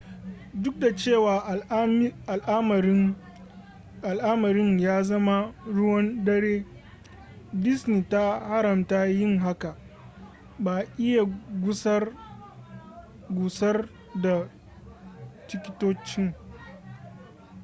duk da cewa al'amarin ya zama ruwan dare disney ta haramta yin haka ba'a iya gusar da tikitocin